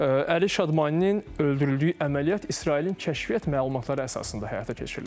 Əli Şadmaninin öldürüldüyü əməliyyat İsrailin kəşfiyyat məlumatları əsasında həyata keçirilir.